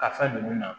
Ka fɛn ninnu na